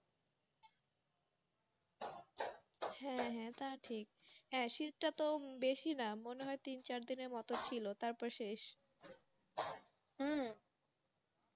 হ্যাঁ হ্যাঁ তা ঠিক হ্যাঁ শীতটা তো বেশি না মনে হয় তিন চারদিন ছিল তারপর শেষ হম